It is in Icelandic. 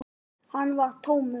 Hann var tómur.